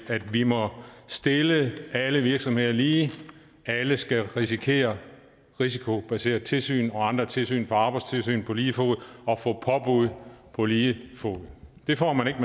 at vi må stille alle virksomheder lige alle skal risikere risikobaseret tilsyn og andre tilsyn fra arbejdstilsynet på lige fod og få påbud på lige fod det får man ikke